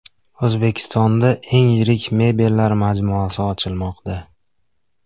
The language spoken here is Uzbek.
O‘zbekistonda eng yirik mebellar majmuasi ochilmoqda.